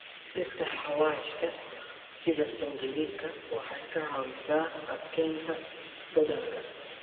Dhirta xawaashka sida sanjabiilka waxay ka caawisaa adkeynta dhadhanka.